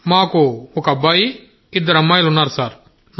మాకు ఒక అబ్బాయి ఇద్దరు అమ్మాయిలు ఉన్నారు సార్